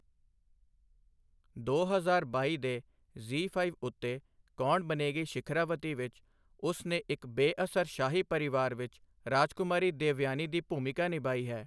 ਦੋ ਹਜ਼ਾਰ ਬਾਈ ਦੇ ਜ਼ੀ ਫਾਇਵ ਉੱਤੇ ਕੌਣ ਬਨੇਗੀ ਸ਼ਿਖਰਾਵਤੀ ਵਿੱਚ ਉਸ ਨੇ ਇੱਕ ਬੇਅਸਰ ਸ਼ਾਹੀ ਪਰਿਵਾਰ ਵਿੱਚ ਰਾਜਕੁਮਾਰੀ ਦੇਵਯਾਨੀ ਦੀ ਭੂਮਿਕਾ ਨਿਭਾਈ ਹੈ।